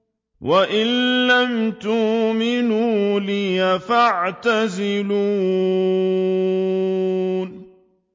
وَإِن لَّمْ تُؤْمِنُوا لِي فَاعْتَزِلُونِ